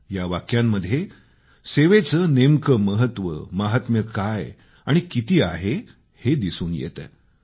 या वाक्यांमध्ये सेवेचं नेमकं महत्व महात्म्य काय आहे हे दिसून येते